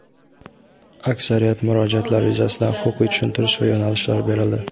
Aksariyat murojaatlar yuzasidan huquqiy tushuntirish va yo‘nalishlar berildi.